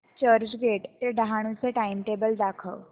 चर्चगेट ते डहाणू चे टाइमटेबल दाखव